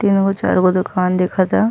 तीन गो चार गो दुकान दिखता।